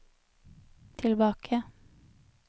tilbake